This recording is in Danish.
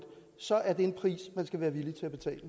så er det en pris man skal være villig